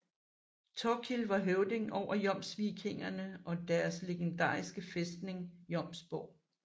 Thorkil var høvding over jomsvikingerne og deres legendariske fæstning Jomsborg